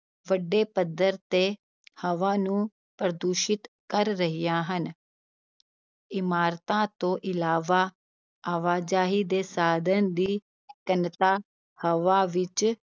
ਵੱਡੇ ਪੱਧਰ ਤੇ ਹਵਾ ਨੂੰ ਪ੍ਰਦੂਸ਼ਿਤ ਕਰ ਰਹੀਆਂ ਹਨ ਇਮਾਰਤਾਂ ਤੋਂ ਇਲਾਵਾ, ਆਵਾਜਾਈ ਦੇ ਸਾਧਨ ਦੀ ਘਣਤਾ ਹਵਾ ਵਿੱਚ